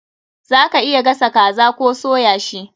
Za ka iya gasa kaza koh soya shi.